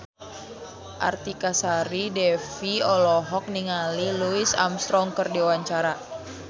Artika Sari Devi olohok ningali Louis Armstrong keur diwawancara